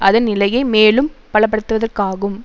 அதன் நிலையை மேலும் பலப்படுத்துவதற்காகும்